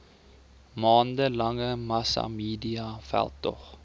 maande lange massamediaveldtog